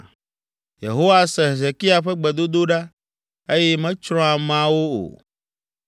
Yehowa se Hezekia ƒe gbedodoɖa eye metsrɔ̃ ameawo o.